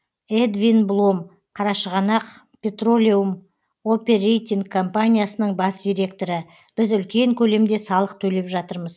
эдвин блом қарашығанақ петролеум оперейтинг компаниясының бас директоры біз үлкен көлемде салық төлеп жатырмыз